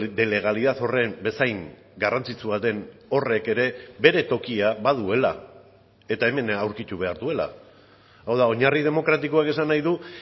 de legalidad horren bezain garrantzitsua den horrek ere bere tokia baduela eta hemen aurkitu behar duela hau da oinarri demokratikoak esan nahi du